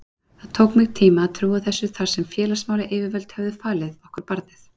Það tók mig tíma að trúa þessu þar sem félagsmálayfirvöld höfðu falið okkur barnið.